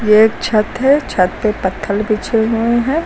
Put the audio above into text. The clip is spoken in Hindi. ये एक छत है। छत पे पत्थल बिछे हुए हैं।